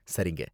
சரிங்க